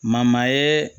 Mama ye